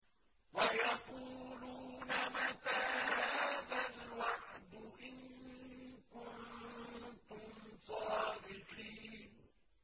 وَيَقُولُونَ مَتَىٰ هَٰذَا الْوَعْدُ إِن كُنتُمْ صَادِقِينَ